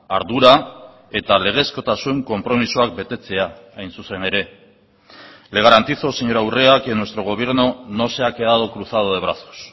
ardura eta legezkotasun konpromisoak betetzea hain zuzen ere le garantizo señora urrea que nuestro gobierno no se ha quedado cruzado de brazos